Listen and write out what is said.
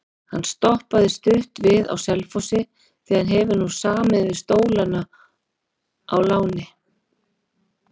Hann stoppaði stutt við á Selfossi því hann hefur nú samið við Stólana á láni.